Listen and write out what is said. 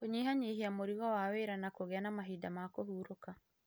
Kũnyihanyihia mũrigo wa wĩra na kũgĩa na mahinda ma kũhurũka